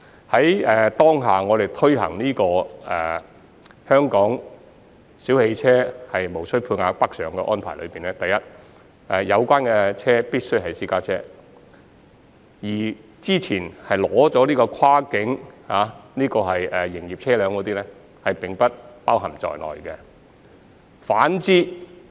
在我們現時推行的這項香港小汽車無需配額北上的安排中，有關車輛必須為私家車，之前已經取得跨境牌照的營運車輛並不包括在這項計劃之內。